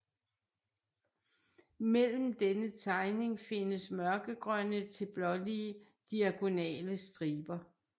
Mellem denne tegning findes mørkegrønne til blålige diagonale striber